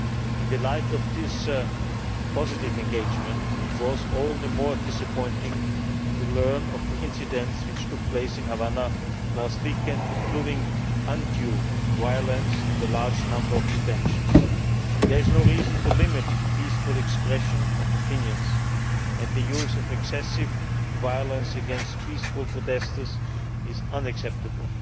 level. In the light of this positive engagement, it was all the more disappointing to learn of the incidents which took place in Havana last weekend, including undue violence and a large number of detentions. There is no reason to limit the peaceful expression of opinion, and the use of excessive violence against peaceful protestors is unacceptable.